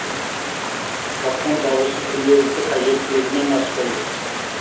тапқан табысы күнделікті қажеттілігінен аспайды